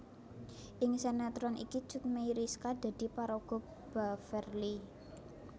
Ing sinetron iki Cut Meyriska dadi paraga Beverly